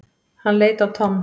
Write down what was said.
Hann leit á Tom.